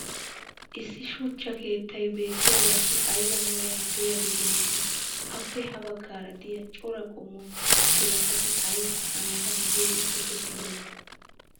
issi shuchcha keettay beettiyaagassi aybba meray diyaagee beetii? appe ha bagaara diya cora qommo biratatti ayssi a matan be'iyoode tokkettidonaa?